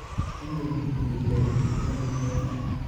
Igen Ile iton'det neo ?